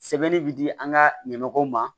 Sɛbɛnni bi di an ka ɲɛmɔgɔw ma